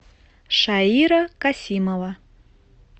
шаира касимова